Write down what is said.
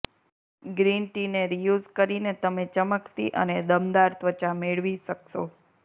green ટીને reuse કરીને તમે ચમકતી અને દમદાર ત્વચા મેળવી શકશો